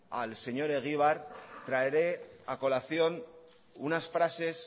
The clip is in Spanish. al señor egibar traeré a colación unas frases